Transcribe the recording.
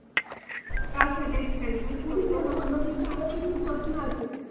আচ্ছা বেশ ঠিক আছে, অন্যদিন তো আরও কিছু প্রশ্ন আছে।